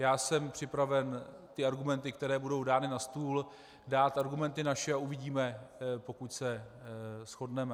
Já jsem připraven k argumentům, které budou dány na stůl, dát argumenty naše a uvidíme, pokud se shodneme.